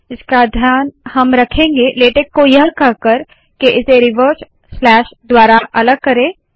इसका ध्यान हम रखेंगे लेटेक को यह कहकर के इसे रिवर्स स्लैश द्वारा अलग करे